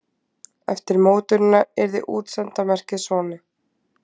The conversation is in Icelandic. Eftir mótunina yrði útsenda merkið svona: